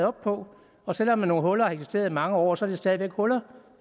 op på og selv om nogle huller har eksisteret i mange år så er de stadig væk huller